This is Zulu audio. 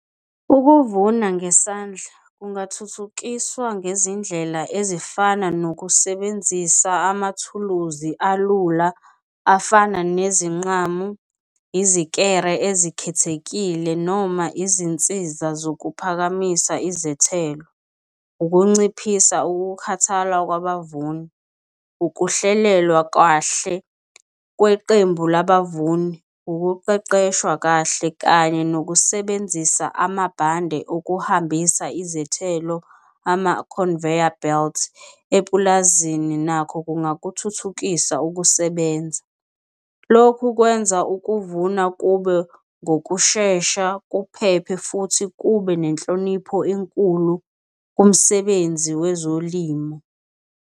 Ukuvuna ngesandla kungathuthukiswa ngezindlela ezifana nokusebenzisa amathuluzi alula afana nezinqamu, izikere ezikhethekile noma izinsiza zokuphakamisa izethelo. Ukunciphisa ukukhathala kwabavuni, ukuhlelelwa kahle kweqembu labavuni, ukuqeqeshwa kahle kanye nokusebenzisa amabhande ozokuhambisa izethelo ama-conveyor belts epulazini nakho kungakuthuthukisa ukusebenza. Lokhu kwenza ukuvuna kube ngokushesha, kuphephe futhi kube nenhlonipho enkulu kumsebenzi wezolimo.